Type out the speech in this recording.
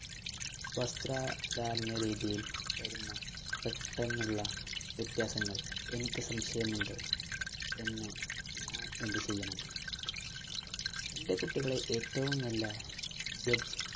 വസ്ത്രധാരണ രീതിയില്‍ വരുന്ന പെട്ടന്നുള്ള വ്യത്യാസങ്ങള്‍, എനിക്ക് സംശയമുണ്ട്‌ എന്ന് ഞാന്‍ എന്ത് ചെയ്യണം എന്‍റെ കുട്ടികളെ ഏറ്റവും നല്ല judge